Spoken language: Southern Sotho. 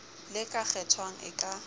le ka kgethwang e ka